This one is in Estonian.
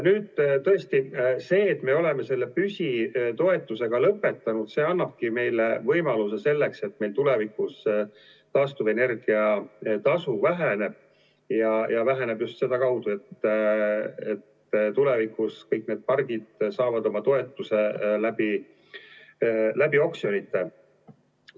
Nüüd tõesti see, et me oleme selle püsitoetuse lõpetanud, annabki meile võimaluse, et meil tulevikus taastuvenergia tasu väheneb ja väheneb just seda kaudu, et tulevikus kõik need pargid saavad toetuse läbi oksjonite.